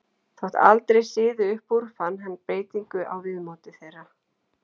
Þótt aldrei syði upp úr fann hann breytingu á viðmóti þeirra.